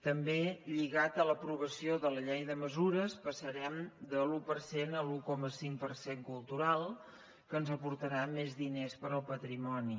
també lligat a l’aprovació de la llei de mesures passarem de l’un per cent a l’un coma cinc per cent cultural que ens aportarà més diners per al patrimoni